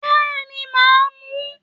Béèni màá mu